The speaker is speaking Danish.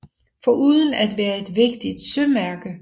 Foruden at være et vigtigt sømærke